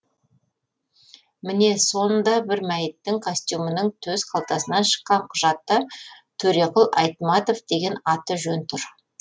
міне сонда бір мәйіттің костюмінің төс қалтасынан шыққан құжатта төреқұл айтматов деген аты жөн тұр